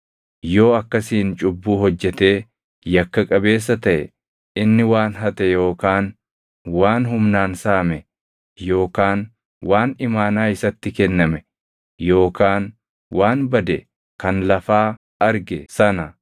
yoo akkasiin cubbuu hojjetee yakka qabeessa taʼe inni waan hate yookaan waan humnaan saame yookaan waan imaanaa isatti kenname yookaan waan bade kan lafaa arge sana